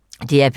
DR P2